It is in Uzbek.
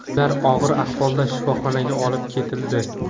Ular og‘ir ahvolda shifoxonaga olib ketildi.